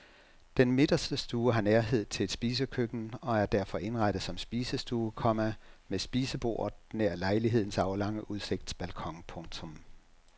Den midterste stue har nærhed til et spisekøkken og er derfor indrettet som spisestue, komma med spisebordet nær lejlighedens aflange udsigtsbalkon. punktum